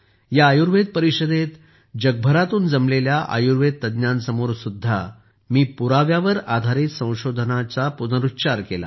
या आयुर्वेद परिषदेत जगभरातून जमलेल्या आयुर्वेद तज्ञांसमोरसुद्धा मी पुराव्यावर आधारित संशोधनाच्या विनंतीचा पुनरुच्चार केला